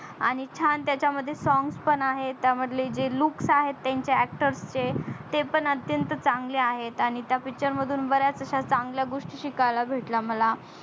आणि छान त्याच्या मध्ये song पण आहे त्या मधले जे looks आहे त्यांच्या actor चे ते पण अत्यंत चांगले आहे आणि त्या picture मधून बऱ्याच अश्या चंगल्या गोष्टी शिकायला भेटल्या मला